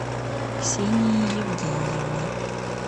ксении евгеньевне